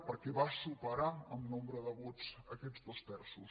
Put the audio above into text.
perquè va superar en nombre de vots aquests dos terços